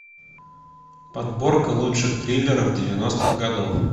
подборка лучших триллеров девяностых годов